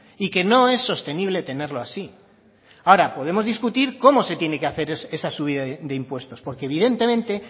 y que no es sostenible tenerlo así ahora podemos discutir cómo se tiene que hacer esa subida de impuestos porque evidentemente